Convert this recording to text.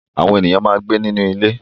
Àwọn ènìyàn máa ń gbé nínú ilé.